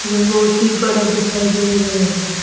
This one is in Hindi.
यह बहोत ही बड़ा दिखाई दे रहे हैं।